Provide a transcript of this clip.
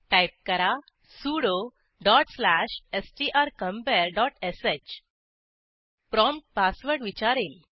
type करा sudo dot slash strcompareश prompt password विचारेल